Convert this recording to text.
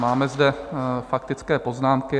Máme zde faktické poznámky.